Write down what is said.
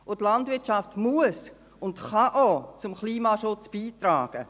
Und die Landwirtschaft muss und kann auch zum Klimaschutz beitragen.